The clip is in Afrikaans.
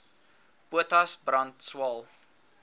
potas brand swael